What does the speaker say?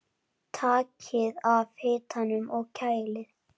Takið af hitanum og kælið.